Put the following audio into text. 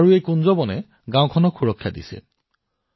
আজি এই অৰণ্যই এই গাওঁখনক সুৰক্ষিত কৰি ৰাখিছে